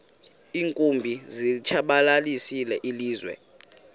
iinkumbi zilitshabalalisile ilizwe